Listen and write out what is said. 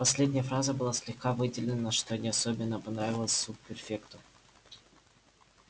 последняя фраза была слегка выделена что не особенно понравилось субпрефекту